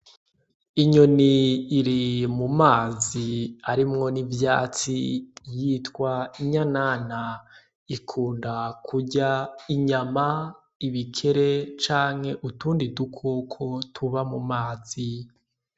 Inyoni iri mu mazi arimwo n’ivyatsi yitwa inyanana ikunda kurya inyama, ibikere canke utundi dukoko tuba mu mazi.